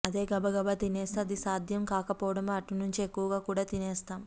అదే గబాగబా తినేస్తే అది సాధ్యం కాకపోవడం అటుంచితే ఎక్కువగా కూడా తినేస్తాం